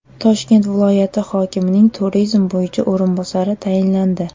Toshkent viloyati hokimining turizm bo‘yicha o‘rinbosari tayinlandi.